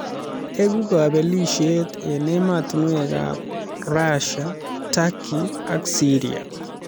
Egu kabelisiet eng ematinwekab Russia ,Turkey ak Syria